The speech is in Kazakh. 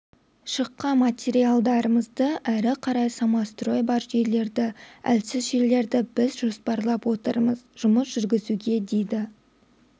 шыққан материалдарымызды әрі қарай самострой бар жерлерді әлсіз жерлерді біз жоспарлап отырмыз жұмыс жүргізуге дейді